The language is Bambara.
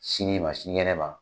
Sini ma sinikɛnɛ ma.